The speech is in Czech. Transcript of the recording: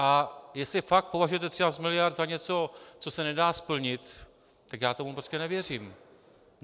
A jestli fakt považujete 13 mld. za něco, co se nedá splnit, tak já tomu prostě nevěřím.